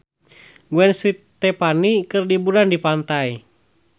Gwen Stefani keur liburan di pantai